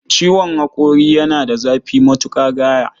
Ciwon haƙori yana da zafi matuƙa gaya